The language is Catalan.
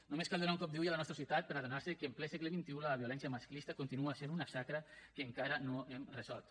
només cal donar un cop d’ull a la nostra societat per adonar se que en ple segle xxi la violència masclista continua sent una xacra que encara no hem resolt